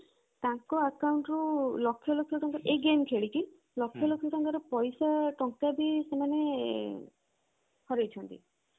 ତାଙ୍କ account ରୁ ଲକ୍ଷ ଲକ୍ଷ ଟଙ୍କା ଏଇ game ଖେଳିକି ଲକ୍ଷ ଲକ୍ଷ ଟଙ୍କାର ପଇସା ଟଙ୍କା ବି ସେମାନେ ହରେଇ ଛନ୍ତି